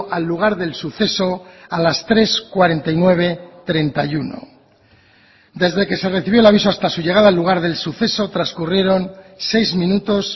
al lugar del suceso a las tres cuarenta y nueve treinta y uno desde que se recibió el aviso hasta su llegada al lugar del suceso transcurrieron seis minutos